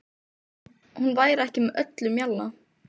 Hún væri ekki með öllum mjalla.